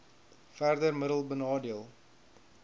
verder middelik benadeel